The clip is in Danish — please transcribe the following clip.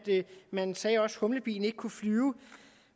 man også sagde at humlebien ikke kunne flyve